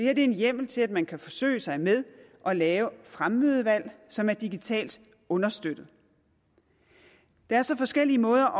er en hjemmel til at man kan forsøge sig med at lave fremmødevalg som er digitalt understøttet der er så forskellige måder